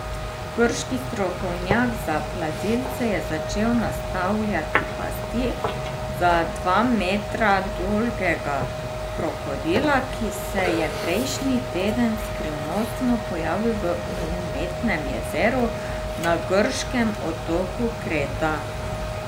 Grški strokovnjak za plazilce je začel nastavljati pasti za dva metra dolgega krokodila, ki se je prejšnji teden skrivnostno pojavil v umetnem jezeru na grškem otoku Kreta.